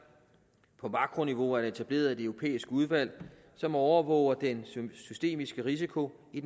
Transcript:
på makroniveau er der etableret et europæisk udvalg som overvåger den systemiske risiko i